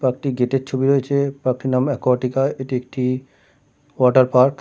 Park - টির gate -এর ছবি রয়েছে। পার্ক -টির নাম একুয়াটিকা এটি একটি ওয়াটার পার্ক ।